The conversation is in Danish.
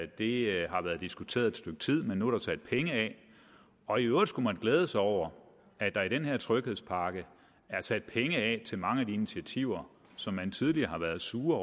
det har været diskuteret et stykke tid men nu er der sat penge af og i øvrigt skulle man glæde sig over at der i den her tryghedspakke er sat penge af til mange af de initiativer som man tidligere har været sur